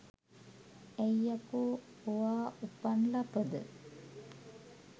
ඇයි යකෝ ඔවා උපන් ලපද